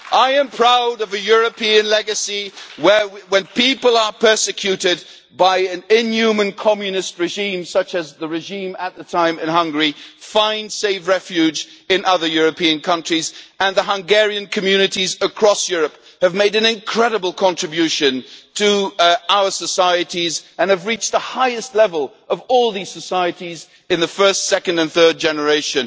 I am proud of the European legacy where, when people are persecuted by an inhuman Communist regime such as the regime at the time in Hungary, they find safe refuge in other European countries and the Hungarian communities across Europe have made an incredible contribution to our societies and have reached the highest level of all these societies in the first, second and third generation.